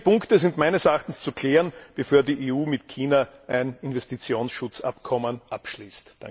Diese Punkte sind meines Erachtens zu klären, bevor die EU mit China ein Investitionsschutzabkommen abschließt.